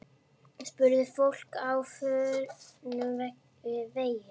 Spurði fólk á förnum vegi.